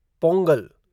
Pongal